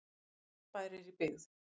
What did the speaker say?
aðeins einn bær er í byggð